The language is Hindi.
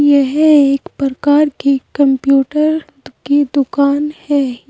यह एक प्रकार की कंप्यूटर के की दुकान है।